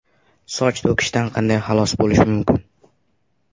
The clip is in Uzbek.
Soch to‘kilishidan qanday xalos bo‘lish mumkin?